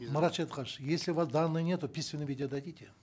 марат шадетханович если у вас данных нету в письменном виде дадите